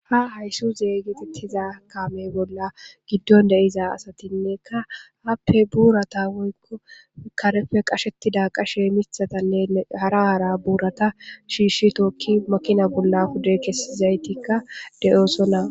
Ha hayssu zeeygetettiza kame bolla giddon deiza asatinnekka happe buurata woykko karefe qashettida qashe mithatanne hara aara buurata shiishshi tookki makina bolla kude kessizaytikka de'oosona.